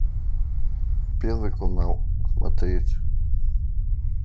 первый канал смотреть